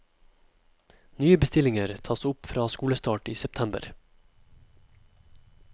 Nye bestillinger tas opp fra skolestart i september.